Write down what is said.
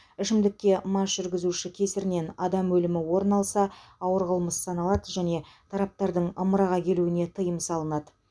ішімдікке мас жүргізуші кесірінен адам өлімі орын алса ауыр қылмыс саналады және тараптардың ымыраға келуіне тыйым салынады